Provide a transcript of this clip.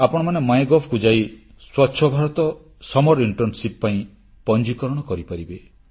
ଆପଣମାନେ MyGovକୁ ଯାଇ ସ୍ୱଚ୍ଛ ଭାରତ ଗ୍ରୀଷ୍ମଛୁଟି ଇଣ୍ଟର୍ଣ୍ଣସିପ ପାଇଁ ପଞ୍ଜୀକରଣ କରିପାରିବେ